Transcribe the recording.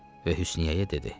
Və Hüsnüyə dedi: